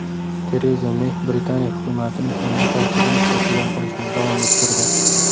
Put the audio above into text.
Tereza Mey Britaniya hukumatining yangi tarkibini shakllantirishni davom ettirdi.